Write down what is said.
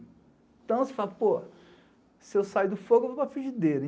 Então, você fala, pô, se eu sair do fogo, eu vou para frigideira.